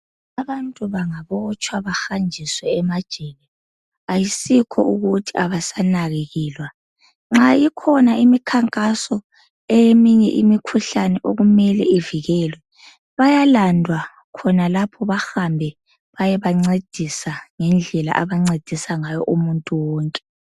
Abantu bangabotshwa bahanjiswe emajele ayisikho ukuthi abasanakekelwa. Nxa ikhona imikhankaso eyeminye imikhuhlane okumele ivikelwe bayalandwa khonalapho bahambe bayebancedisa ngendlela abancedisa ngayo umuntu wonke.